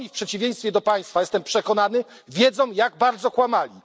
Oni w przeciwieństwie do Państwa jestem przekonany wiedzą, jak bardzo kłamali.